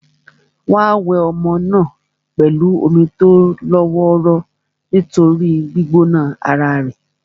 Wọ́n á wẹ ọmọ náà pẹ̀lú omi tó lọ́ wọ́ró nítorí gbígbóná ara è.